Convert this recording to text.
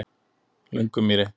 Löngumýri